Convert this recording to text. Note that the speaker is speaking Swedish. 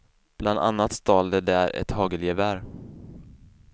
Bland annat stal de där ett hagelgevär.